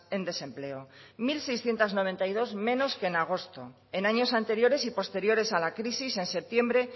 en desempleo mil seiscientos noventa y dos menos que en agosto en años anteriores y posteriores a la crisis en septiembre